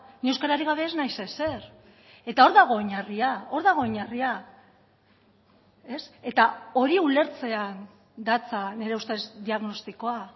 ni euskararik gabe ez naiz ezer eta hor dago oinarria hor dago oinarria eta hori ulertzean datza nire ustez diagnostikoa